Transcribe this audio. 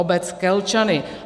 Obec Kelčany."